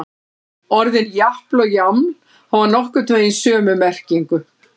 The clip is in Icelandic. Orðin japl og jaml hafa nokkurn veginn sömu merkingu.